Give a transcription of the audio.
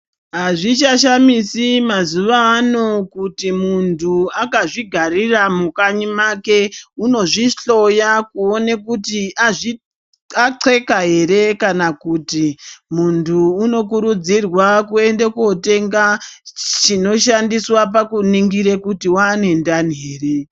Azvichashamisi mazuva ano kuti muntu akazvigarira mukanyi make unozvihloya kuona kuti azvi axakeka ere kana kuti muntu unokurudzirwa kuenda kotenge chinoshandiswa pakuningira kuti waane ndani ere.